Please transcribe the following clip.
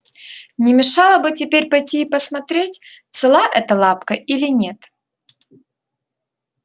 не мешало бы теперь пойти и посмотреть цела эта лапка или нет